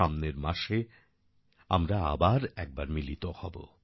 সামনের মাসে আমরা আবার একবার মিলিত হবো